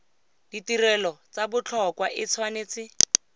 ditirelo tsa botlhokwa e tshwanetse